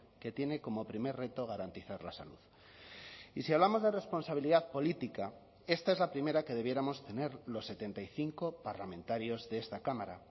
que tiene como primer reto garantizar la salud y si hablamos de responsabilidad política esta es la primera que debiéramos tener los setenta y cinco parlamentarios de esta cámara